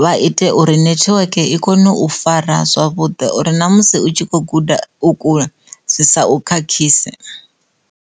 vha ite uri nethiweke i kone u fara zwavhuḓi uri namusi utshi kho guda u kule zwi sa u khakhise.